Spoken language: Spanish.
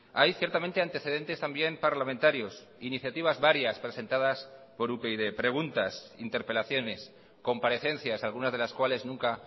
hay ciertamente antecedentes también parlamentarios iniciativas varias presentadas por upyd preguntas interpelaciones comparecencias algunas de las cuales nunca